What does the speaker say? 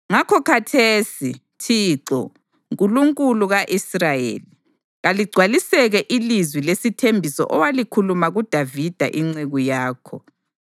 Ngakho khathesi, Thixo, Nkulunkulu ka-Israyeli, kaligcwaliseke ilizwi lesithembiso owalikhuluma kuDavida inceku yakho.